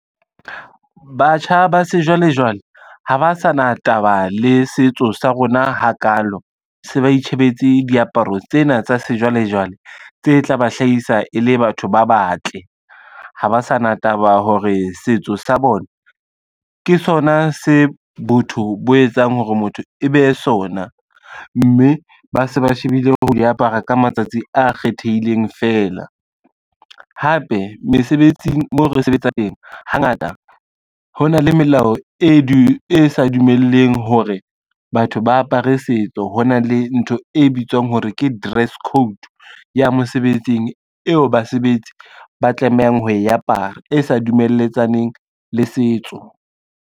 Batjha ba sejwalejwale, ha ba sa na taba le setso sa rona ha kalo, se ba itjhebetse diaparo tsena tsa sejwalejwale tse tla ba hlahisa e le batho ba batle. Ha ba sa na taba hore setso sa bona ke sona se botho bo etsang hore motho e be sona, mme ba se ba shebile ho di apara ka matsatsi a kgethehileng fela. Hape mesebetsing mo re sebetsang teng, hangata hona le melao e sa dumelleng hore batho ba apare setso hona le ntho e bitswang hore ke dress code ya mosebetsing, eo basebetsi ba tlamehang ho e apara e sa dumeletsaneng le setso.